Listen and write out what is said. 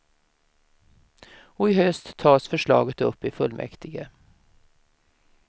Och i höst tas förslaget upp i fullmäktige.